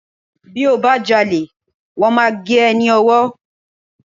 Bí o bá já ole, wón máa gé e ní ọwọ́